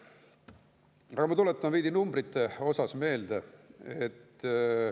Aga ma tuletan veidi numbreid meelde.